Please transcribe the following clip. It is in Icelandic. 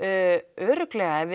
örugglega